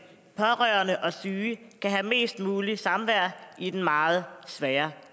pårørende og den syge kan have mest muligt samvær i den meget svære